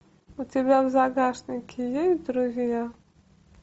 у тебя в загашнике есть друзья